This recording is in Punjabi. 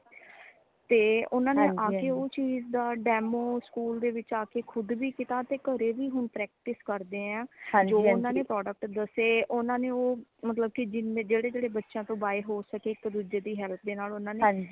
ਤੇ ਊਨਾ ਨੇ ਆ ਕੇ ਉਸ ਚੀਜ਼ ਦਾ demo ਸਕੂਲ ਦੇ ਵਿਚ ਆਕੇ ਖੁਦ ਵੀ ਕੀਤਾ ਤੇ ਘਰੇ ਵੀ ਹੁਣ practice ਕਰਦੇ ਹੈ ਜੋ ਓਨਾ ਨੇ product ਦਸੇ ਓਨਾ ਨੇ ਉਹ ਮਤਲਬ ਕਿ ਜੇੜੇ ਜੇੜੇ ਬੱਚਿਆਂ ਤੋਂ buy ਹੋ ਸਕੇ ਇਕ ਦੂਜੇ ਦੀ help ਦੇ ਨਾਲ